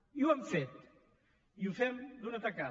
i ho hem fet i ho fem d’una tacada